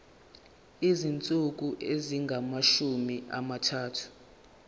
izinsuku ezingamashumi amathathu